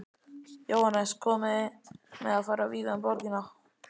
Jóhannes: Komið þið til með að fara víða um borgina?